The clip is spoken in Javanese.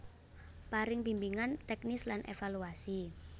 Paring bimbingan teknis lan evaluasi